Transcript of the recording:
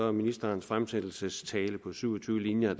at ministerens fremsættelsestale på syv og tyve linjer